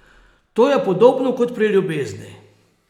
To je podobno kot pri ljubezni.